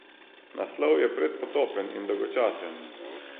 Naslov je predpotopen in dolgočasen.